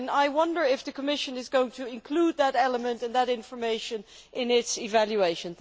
I wonder if the Commission is going to include that element and that information in its evaluation.